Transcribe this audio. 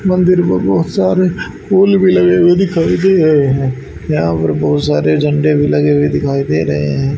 मंदिर में बहुत सारे फूल भी लगे हुए दिखाई दे रहे हैं यहां पर बहुत सारे झंडे भी लगे हुए दिखाई दे रहे हैं।